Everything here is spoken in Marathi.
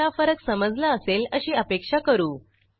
तुम्हाला फरक समजला असेल अशी अपेक्षा करू